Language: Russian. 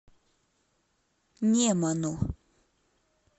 неману